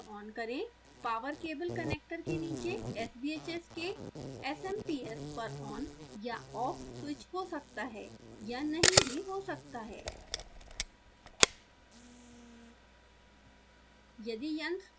mains power on करें power cable connector के नीचे sbhs के smps पर on/off स्विच हो सकता है या नहीं भी हो सकता है